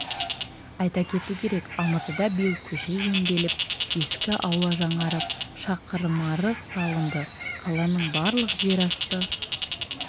айта кету керек алматыда биыл көше жөнделіп ескі аула жаңарып шақырымарық салынды қаланың барлық жер асты